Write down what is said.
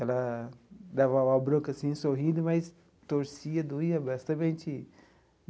Ela dava uma bronca, assim, sorrindo, mas torcia, doía.